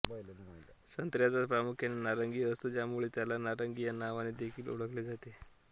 संत्र्याचा रंग प्रामुख्याने नारंगी असतो ज्यामुळे त्याला नारंगी या नावाने देखील ओळखले जाते